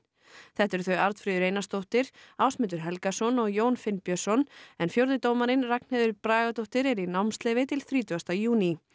þetta eru þau Arnfríður Einarsdóttir Ásmundur Helgason og Jón Finnbjörnsson en fjórði dómarinn Ragnheiður Bragadóttir er í námsleyfi til þrítugasta júní